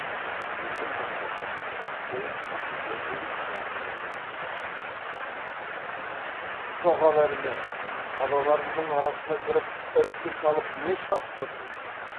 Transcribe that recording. енді кәмшатты жатқызып қойып түрегеліп келініне жақындап кеп қатты ақырып жоғал әрмен балаларымның арасына кіріп ірткі салып не шатып тұрсың